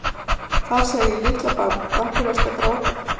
Þar segir: Litla barn, af hverju ertu að gráta?